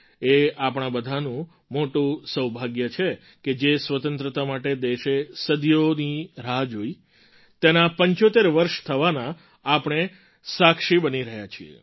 એ આપણા બધાનું મોટું સૌભાગ્ય છે કે જે સ્વતંત્રતા માટે દેશે સદીઓની રાહ જોઈ તેનાં ૭૫ વર્ષ થવાના આપણે સાક્ષી બની રહ્યા છીએ